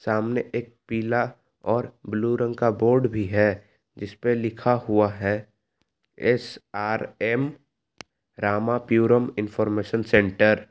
सामने एक पीला और ब्लू रंग का बोर्ड भी है जिस पे लिखा हुआ है एस_आर_एम रामाप्यूरम इनफॉरमेशन सेंटर ।